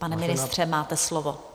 Pane ministře, máte slovo.